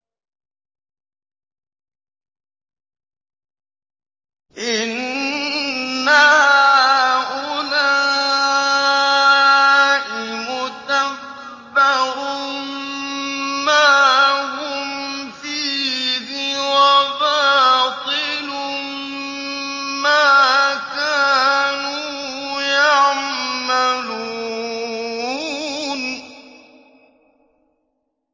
إِنَّ هَٰؤُلَاءِ مُتَبَّرٌ مَّا هُمْ فِيهِ وَبَاطِلٌ مَّا كَانُوا يَعْمَلُونَ